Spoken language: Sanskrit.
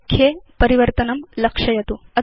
लेख्ये परिवर्तनं लक्षयतु